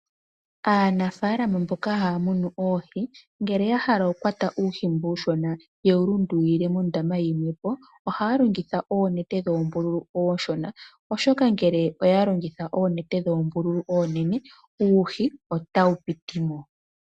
Aanafaalama mboka haya munu oohi, ngele yahala okukwata uuhi mboka uushona yewu lundululile mondama yilwe po ohaya longitha oonete dhoombulu ooshona oshoka ngele oyalongitha oonete dhoombululu oonene uuhi otawu piti mo.